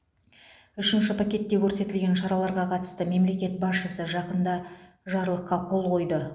үшінші пакетте көрсетілген шараларға қатысты мемлекет басшысы жақында жарлыққа қол қойды